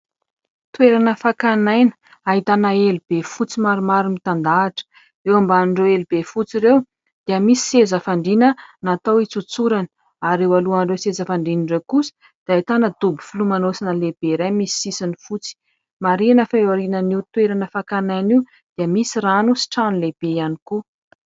Toerana fakan'aina, ahitana elobe fotsy maromaro mitandahatra. Eo ambanin'ireo elobe fotsy ireo dia misy seza fandriana natao hitsotsorana ary eo alohan'ireo seza fandriana ireo kosa dia ahitana dobo filomanosana lehibe iray misy sisiny fotsy. Marihina fa eo aorian'io toerana fakan'aina io dia misy rano sy trano lehibe ihany koa.